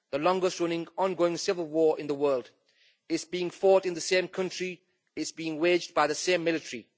The longest running on going civil war in the world is being fought in the same country and is being waged by the same military.